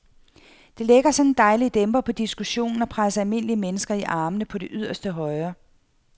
Det lægger sådan en dejlig dæmper på diskussionen og presser almindelige mennesker i armene på det yderste højre.